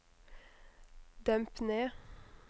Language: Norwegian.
demp ned